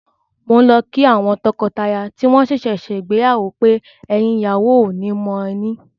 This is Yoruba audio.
Mò ń lọ kí àwọn tọkọtaya tí wọ́n ṣẹ̀ṣẹ̀ ṣègbéyàwó pé, “ẹ̀yìn ìyàwó ò ní mọ ẹní”.